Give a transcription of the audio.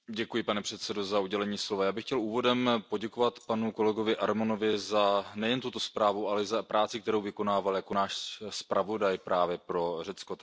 Pane předsedající, já bych chtěl úvodem poděkovat panu kolegovi Arimontovi za nejen tuto zprávu, ale i za práci, kterou vykonával jako náš zpravodaj právě pro Řecko.